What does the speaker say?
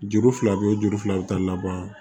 Juru fila bɛ juru fila bɛ taa laban